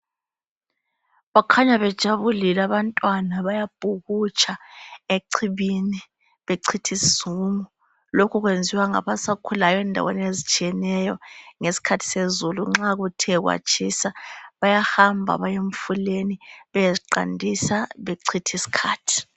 Bakhanya bejabulile abantwana bayabhukutsha echibini bechithisizungu. Lokhu kwenziwa ngabasakhulayo endaweni ezitshiyeneyo ngesikhathi sezulu. Nxa kuthe kwatshisa bayahamba bayemfuleni beyeziqandisa bechithisikhathi.